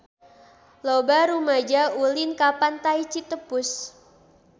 Loba rumaja ulin ka Pantai Citepus